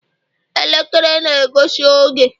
elekere na-egosi oge